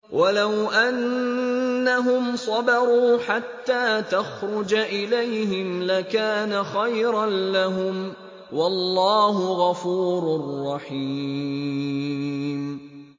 وَلَوْ أَنَّهُمْ صَبَرُوا حَتَّىٰ تَخْرُجَ إِلَيْهِمْ لَكَانَ خَيْرًا لَّهُمْ ۚ وَاللَّهُ غَفُورٌ رَّحِيمٌ